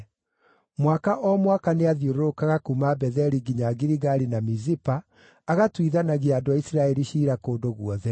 Mwaka o mwaka nĩathiũrũrũkaga kuuma Betheli nginya Giligali na Mizipa, agatuithanagia andũ a Isiraeli ciira kũndũ guothe.